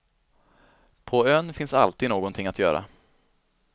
På ön finns alltid någonting att göra.